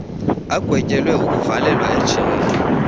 agwetyelwe ukuvalelwa ejele